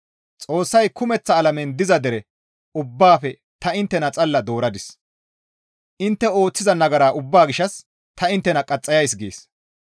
Xoossay, «Kumeththa alamen diza dere ubbaafe ta inttena xalla dooradis; intte ooththiza nagara ubbaa gishshas ta inttena qaxxayays» gees.